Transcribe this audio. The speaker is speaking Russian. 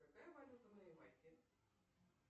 какая валюта на ямайке